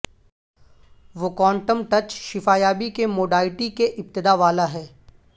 وہ quantum touch شفا یابی کے موڈائٹی کے ابتداء والا ہے